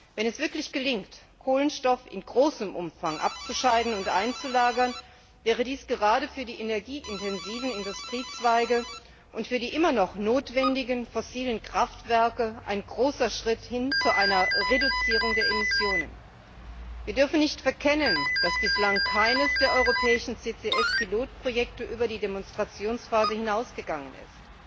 Wenn es wirklich gelingt, Kohlenstoff in großem Umfang abzuscheiden und einzulagern, wäre dies gerade für die energieintensiven Industriezweige und für die immer noch notwendigen fossilen Kraftwerke ein großer Schritt hin zu einer Reduzierung der Emissionen. Wir dürfen nicht verkennen, dass bislang keines der europäischen CCS Pilotprojekte über die Demonstrationsphase hinausgegangen ist